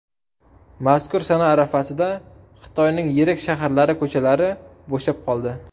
Mazkur sana arafasida Xitoyning yirik shaharlari ko‘chalari bo‘shab qoldi.